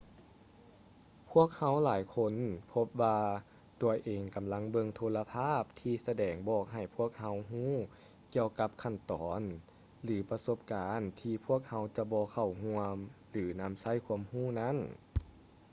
ພວກເຮົາຫຼາຍຄົນພົບວ່າຕົວເອງກໍາລັງເບິ່ງໂທລະພາບທີ່ສະແດງບອກໃຫ້ພວກເຮົາຮູ້ກ່ຽວກັບຂັ້ນຕອນ ຫຼື ປະສົບການທີ່ພວກເຮົາຈະບໍ່ເຂົ້າຮ່ວມ ຫຼື ນຳໃຊ້ຄວາມຮູ້ນັ້ນ